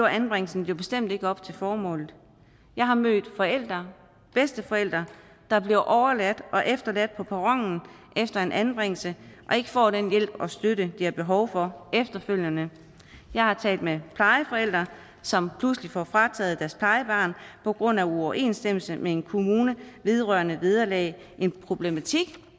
anbringelsen jo bestemt ikke lever op til formålet jeg har mødt forældre bedsteforældre der bliver overladt og efterladt på perronen efter en anbringelse og ikke får den hjælp og støtte de har behov for efterfølgende jeg har talt med plejeforældre som pludselig får frataget deres plejebarn på grund af uoverensstemmelser med en kommune vedrørende vederlag en problematik